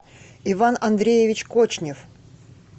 иван андреевич кочнев